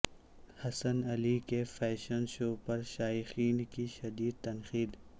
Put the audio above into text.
حسن علی کے fashion show پر شائقین کی شدید تنقید